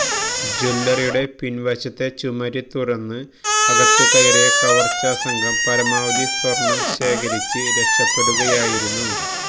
ജ്വല്ലറിയുടെ പിന്വശത്തെ ചുമര് തുരന്ന് അകത്തു കയറിയ കവര്ച്ചാ സംഘം പരമാവധി സ്വര്ണം ശേഖരിച്ച് രക്ഷപ്പെടുകയായിരുന്നു